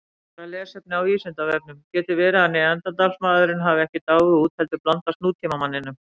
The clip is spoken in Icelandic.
Frekara lesefni á Vísindavefnum: Getur verið að Neanderdalsmaðurinn hafi ekki dáið út heldur blandast nútímamanninum?